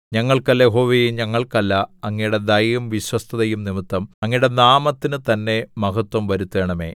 ഞങ്ങൾക്കല്ല യഹോവേ ഞങ്ങൾക്കല്ല അങ്ങയുടെ ദയയും വിശ്വസ്തതയും നിമിത്തം അങ്ങയുടെ നാമത്തിന് തന്നെ മഹത്വം വരുത്തണമേ